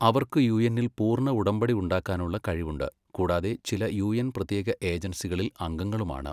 അവർക്ക് യുഎന്നിൽ പൂർണ്ണ ഉടമ്പടി ഉണ്ടാക്കാനുള്ള കഴിവുണ്ട് കൂടാതെ ചില യുഎൻ പ്രത്യേക ഏജൻസികളിൽ അംഗങ്ങളുമാണ്.